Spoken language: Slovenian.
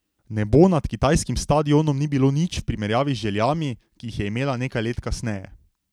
Nebo nad kitajskim stadionom ni bilo nič v primerjavi z željami, ki jih je imela nekaj let kasneje.